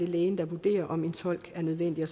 lægen der vurderer om en tolk er nødvendig og